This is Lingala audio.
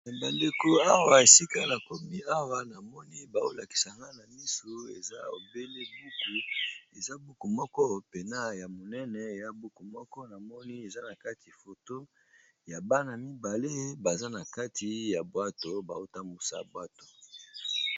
Bandeko esika Awa bazolakisa na miso eza obele buku moko penza monene eza na kati photo ya Bana mibale bazo bazana kati ya bwato bazo tambwisa bwato.